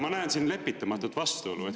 Ma näen siin lepitamatut vastuolu.